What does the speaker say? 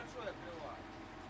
Böyük pəncərə.